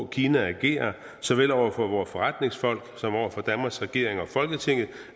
kina agerer såvel over for vores forretningsfolk som over for danmarks regering og folketinget